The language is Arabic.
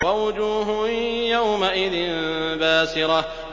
وَوُجُوهٌ يَوْمَئِذٍ بَاسِرَةٌ